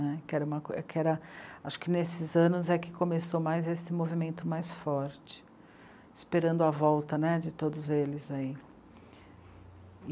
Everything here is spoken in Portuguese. que era uma, que era. Acho que nesses anos é que começou mais esse movimento mais forte, esperando a volta né, de todos eles.